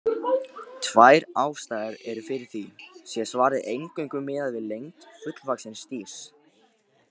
Tvær ástæður eru fyrir því, sé svarið eingöngu miðað við lengd fullvaxins dýrs.